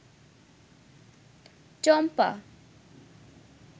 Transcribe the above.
চম্পা